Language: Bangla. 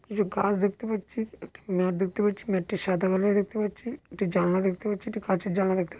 কিছু গাছ দেখতে পাচ্ছি। একটি ম্যাট দেখতে পাচ্ছি। ম্যাট -টি সাদা কালার দেখতে পাচ্ছি। একটি জানালা দেখতে পাচ্ছি। একটি কাঁচের জানালা দেখতে পা--